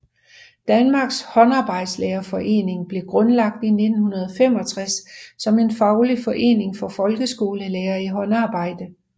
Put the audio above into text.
Danmarks Håndarbejdslærerforening blev grundlagt i 1965 som en faglig forening for folkeskolelærere i håndarbejde